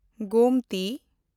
Gomti